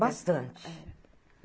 Bastante.